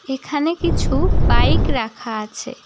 এখানে কিছু বাইক রাখা আছে।